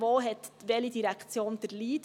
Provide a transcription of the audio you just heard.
Wo hat welche Direktion den Lead?